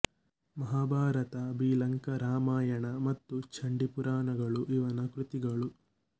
ಮಹಾಭಾರತ ಬಿಲಂಕಾ ರಾಮಾಯಣ ಮತ್ತು ಚಂಡೀ ಪುರಾಣಗಳು ಇವನ ಕೃತಿಗಳು